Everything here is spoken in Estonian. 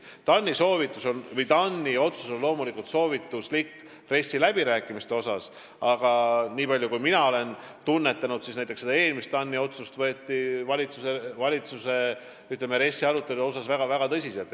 TAN-i otsus on loomulikult soovitus, aga nii palju kui mina olen tunnetanud, siis TAN-i eelmisi soovitusi on valitsuses ja RES-i läbirääkimistel võetud väga tõsiselt.